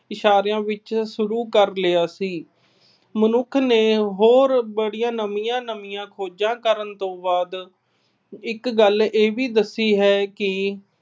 ਇਸ਼ਾਰਿਆਂ ਵਿੱਚ ਸ਼ੁਰੂ ਕਰ ਲਿਆ ਸੀ। ਮਨੁੱਖ ਨੇ ਹੋਰ ਨਵੀਆਂ-ਨਵੀਆਂ ਖੋਜਾਂ ਕਰਨ ਤੋਂ ਬਾਅਦ ਇੱਕ ਗੱਲ ਇਹ ਵੀ ਦੱਸੀ ਹੈ ਕਿ